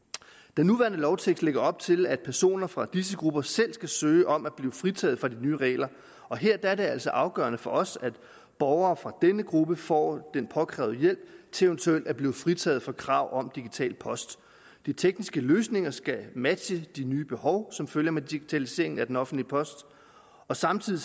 den nuværende lovtekst lægger op til at personer fra disse grupper selv skal søge om at blive fritaget fra de nye regler her er det altså afgørende for os at borgere fra denne gruppe får den påkrævede hjælp til eventuelt at blive fritaget for kravet om digital post de tekniske løsninger skal matche de nye behov som følger med digitaliseringen af den offentlige post samtidig